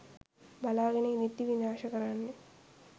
බලාගෙන ඉද්දි විනාශ කරන්නෙත්